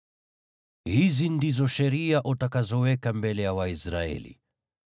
“Hizi ndizo sheria utakazoweka mbele ya Waisraeli: